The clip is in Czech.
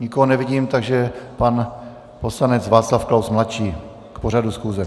Nikoho nevidím, takže pan poslanec Václav Klaus mladší k pořadu schůze.